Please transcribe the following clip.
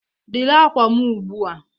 Dịrị akwa m ugbu a!